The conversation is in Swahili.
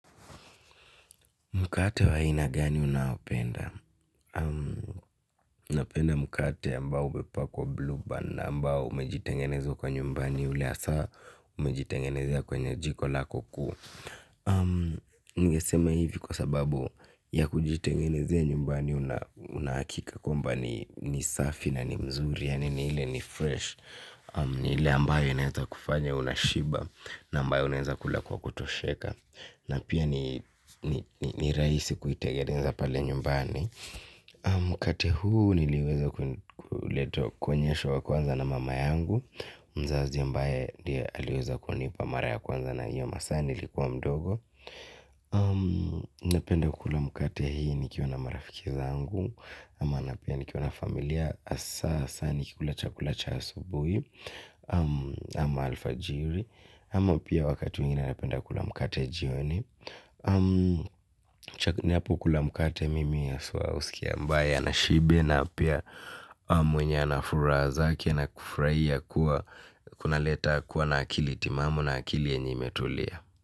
Mkate wa aina gani unaopenda? Napenda mkate ambao umepakwa blue bun na ambao umejitengenezo kwa nyumbani ule hasa umejitengenezea kwenye jiko lako kuu ningesema hivi kwa sababu ya kujitengenezea nyumbani unahakika kwamba ni safi na ni mzuri yaani ile ni fresh. Ni ile ambayo inaweza kufanya unashiba. Na ambayo unaweza kula kwa kutosheka. Na pia ni rahisi kuitengeneza pale nyumbani. Mkate huu niliweza kuonyeshwa kwanza na mama yangu. Mzazi ambaye ndiye aliweza kunipa mara ya kwanza na hiyo masaa nilikuwa mdogo. Napenda kula mkate hii nikiwa na marafiki zangu. Ama napia nikiwa na familia hasa hasa nikikula chakula cha asubuhi. Ama alfajiri ama pia wakati mwingine napenda kula mkate jioni. Napo kula mkate mimi haswa husikia ambaye ana shibe na pia na mwenye anafuraha zake na kufurahia kuwa kunaleta kuwa na akili timamu na akili yenye imetulia.